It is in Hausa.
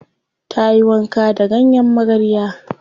Ta yi wanka da ganyen magarya.